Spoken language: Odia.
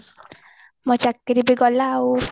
ମୋ ଚାକିରି ବି ଗଲା ଆଉ